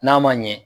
N'a ma ɲɛ